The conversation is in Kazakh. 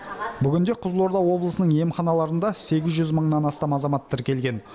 бүгінде қызылорда облысының емханаларында сегіз жүз мыңнан астам азамат тіркелген